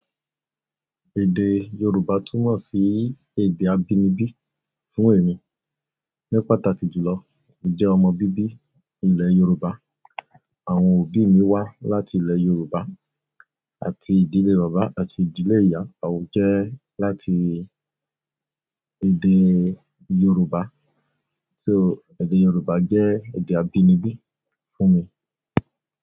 Èdè Yorùbá túmọ̀ sí èdè abínibí fún èmi. Ní pàtàkì jùlọ, mo jẹ́ ọmọ bíbí ilẹ̀ Yorùbá, àwọn òbí mi wá láti ilẹ̀ Yorùbá àti ìdílé bàbá àti ìdílé ìyá à ó jẹ́ láti èdè Yorùbá. So, èdè Yorùbá jẹ́ èdè abínibí fún mi.